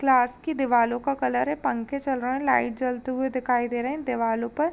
Class की दीवालों का कलर है। पंखे चल रहे हैं। लाइट जलती हुई दिखाई दे रहे हैं दिवालों पर।